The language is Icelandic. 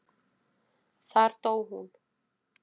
Þar dó hún.